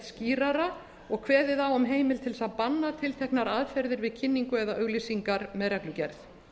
skýrara og kveðið á um heimild til að banna tilteknar aðferðir við kynningu eða auglýsingar með reglugerð